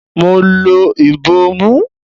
Mo lo ìbòmú.